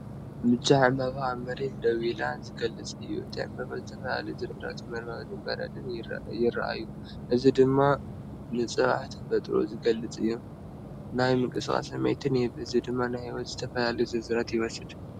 ብጫ ዕምባባ ኣብ መሬት ደው ኢሉ ዝገልጽ እዩ። እቲ ዕምባባ ብዝተፈላለየ ዝርዝራት መርበብን በረድን ይርአ ፣ እዚ ድማ ንጽባቐ ተፈጥሮ ዝገልጽ እዩ። ናይ ምንቅስቓስ ስምዒት ይህብ፣ እዚ ድማ ህይወትን ዝተፈላለየ ዝርዝራትን ይወስድ።